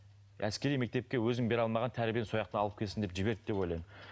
әскери мектепке өзінің бере алмаған тәрбиені алып келсін деп жіберді деп ойлаймын